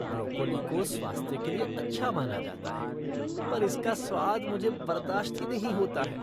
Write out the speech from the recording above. Broccoli को स्वास्थ्य के लिए अच्छा माना जाता है पर इसका स्वाद मुझे बर्दाश्त ही नहीं होता है।